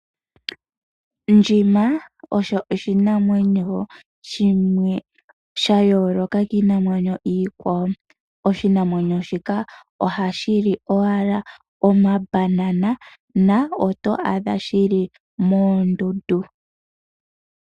Ndjima osho oshinamwenyo shimwe shayooloka kiinamwenyo iikwawo. Oshinamwenyo shika ohashi li owala omabanana na oto adha shili moondundu.